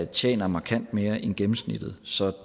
tjener markant mere end gennemsnittet så